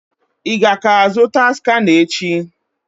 Ị ga ka-azụta skana echi?